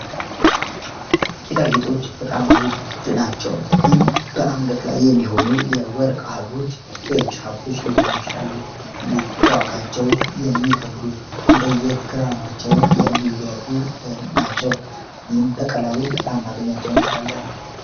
ጌጥአ ጌጦች በጣም ውድ ናቸው። ይህም በአንገት ላይ የሚሆኑ የወርቅ አህሎች የጃብሎች ሊሆኑ ይችላሉ። እንዲህ በዋጋቸው የሚገብዱ እንደ የግራማቸውም የሚለዩ ናቸው ኒም በቀላሉም ላናገኛቸው እንችላለን።